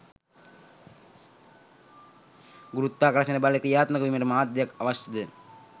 ගුරුත්වාකර්ෂණ බල ක්‍රියාත්මක වීමට මාධ්‍යයක් අවශ්‍යද?